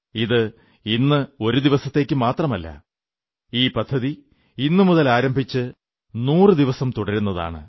ഇത് ഇന്ന് ഒരു ദിവസത്തേക്കു മാത്രമല്ല ഈ പദ്ധതി ഇന്നുമുതൽ ആരംഭിച്ച് 100 ദിവസം തുടരുന്നതാണ്